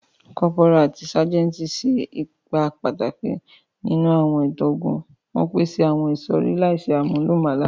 Cọ́póra ati ságẹntì ṣe awọn ipa pataki ninu awọn itan ogun, won paṣẹ àwon ìsọ̀rí láìse àmúlùmálà